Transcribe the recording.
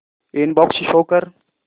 inbox show कर